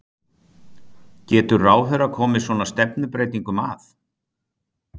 Getur ráðherra komið svona stefnubreytingum að?